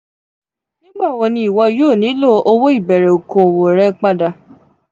nigbawo ni iwọ yoo nilo owo ibere okowo rẹ pada?